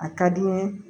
A ka di n ye